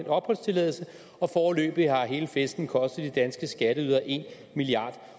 opholdstilladelse og foreløbig har hele festen kostet de danske skatteydere en milliard